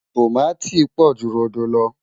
tọ̀máti pò jù rodò ló